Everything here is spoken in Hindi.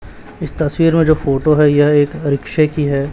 इस तस्वीर में जो फोटो है यह एक रिक्शे की है।